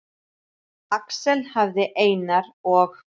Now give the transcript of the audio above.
Axel hafði Einar og